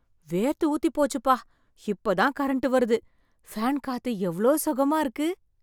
வேர்த்து ஊத்தி போச்சுப்பா, இப்பதான் கரண்ட் வருது பேன் காத்து எவ்ளோ சுகமா இருக்கு.